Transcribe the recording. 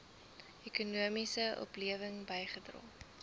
ekonomiese oplewing bygedra